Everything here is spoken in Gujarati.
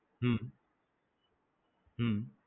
હમ હમ